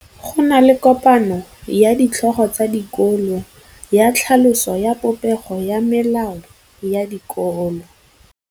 Go na le kopanô ya ditlhogo tsa dikolo ya tlhaloso ya popêgô ya melao ya dikolo.